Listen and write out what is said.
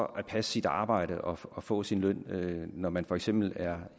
at passe sit arbejde og og få sin løn når man for eksempel er